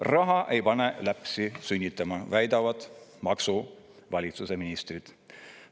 Raha ei pane kedagi sünnitama, väidavad maksuvalitsuse ministrid.